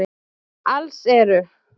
Alls eru